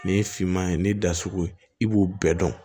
Nin ye finman ye nin da sugu ye i b'o bɛɛ dɔn